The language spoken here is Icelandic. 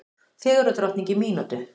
Fegurðardrottning í mínútu